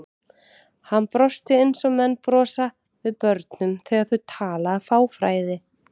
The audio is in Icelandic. Hann brosti eins og menn brosa við börnum þegar þau tala af fáfræði.